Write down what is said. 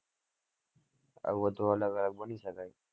આ